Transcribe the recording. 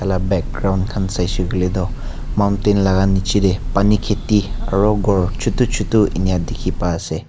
background khan saise koile tu mountent laga niche pani kheti aru gour chotu chotu eningka dekhi pai ase.